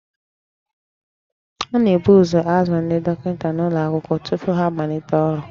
A na-ebu ụzọ azụ ndị dọkịta n'ụlọ akwụkwọ tupu ha amalite ọrụ